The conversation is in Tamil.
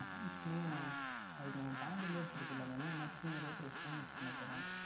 Max என்றால் அது நாம் Pondi ளாயே எடுத்துக்கொண்டு போய்விடலாமே எல்லா Max க்குமே ஒரே Price தான் Use பண்ண போகின்றோம்